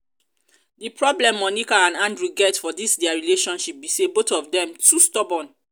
the problem monica and andrew get for dis dia relationship be say both of dem too stubborn